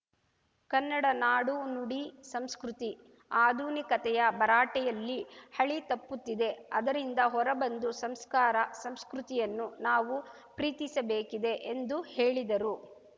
ಕನ್ನಡ ನಾಡುನುಡಿಸಂಸ್ಕೃತಿ ಅಧುನಿಕತೆಯ ಭರಾಟೆಯಲ್ಲಿ ಹಳಿತಪ್ಪುತ್ತಿದೆ ಅದರಿಂದ ಹೊರಬಂದು ಸಂಸ್ಕಾರ ಸಂಸ್ಕೃತಿಯನ್ನು ನಾವು ಪ್ರೀತಿಸಬೇಕಿದೆ ಎಂದು ಹೇಳಿದರು